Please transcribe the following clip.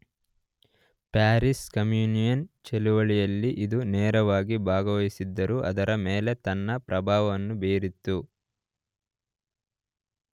Paris Commune ಚಳವಳಿಯಲ್ಲಿ ಇದು ನೇರವಾಗಿ ಭಾಗವಹಿಸದಿದ್ದರೂ ಅದರ ಮೇಲೆ ತನ್ನ ಪ್ರಭಾವವನ್ನು ಬೀರಿತು.